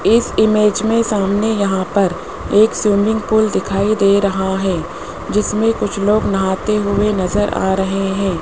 इस इमेज में सामने यहां पर एक स्विमिंग पूल दिखाई दे रहा है जिसमें कुछ लोग नहाते हुए नजर आ रहे हैं।